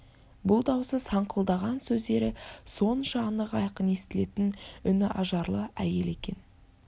бұл даусы саңқылдаған сөздері сонша анық айқын естілетін үні ажарлы әйел екен